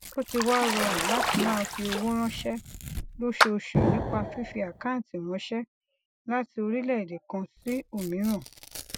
ó ti wá rọrùn láti máa fi owó ránṣé lóṣooṣù nípa fífi àkáǹtì ránṣé láti orílèèdè kan sí òmíràn